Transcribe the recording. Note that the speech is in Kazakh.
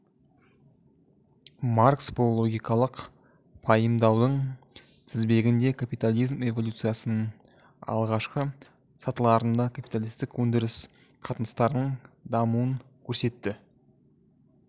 маркс бұл логикалық пайымдаудың тізбегінде капитализм эволюциясының алғашқы сатыларында капиталистік өндіріс қатынастарының дамуын көрсетті